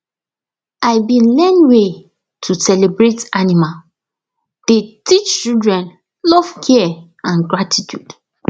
i been learn way to celebrate animal dey teach children love care and gratitude